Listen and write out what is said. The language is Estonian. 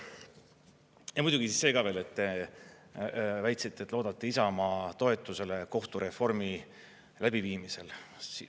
Ja muidugi see ka veel, et te väitsite, et loodate Isamaa toetusele kohtureformi läbiviimisel.